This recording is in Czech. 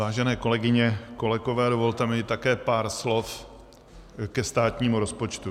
Vážené kolegyně, kolegové, dovolte mi také pár slov ke státnímu rozpočtu.